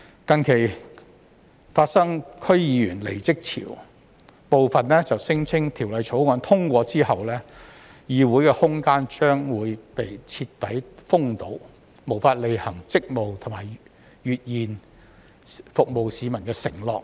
近期發生區議員離職潮，部分區議員聲稱，在《條例草案》通過後，議會空間將被徹底封堵，無法履行職務和兌現服務市民的承諾。